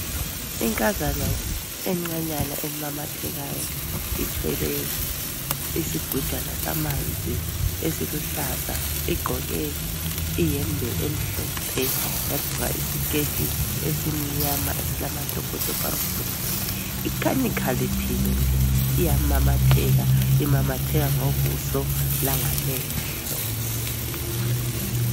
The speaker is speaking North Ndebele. Inkazana encanyana emamathekayo ithwele isigujana samanzi esiluhlaza igqoke iyembe emhlophe yagqoka isiketi esimnyama esilamatopotopo amhlophe ikhanya ikhaliphile nje iyamamatheka imamatheka ngobuso langamehlo.